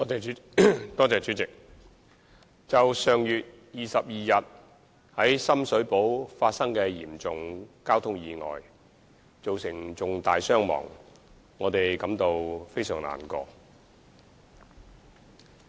主席，就上月22日在深水埗發生的一宗嚴重交通意外，造成重大傷亡，我們感到非常難過。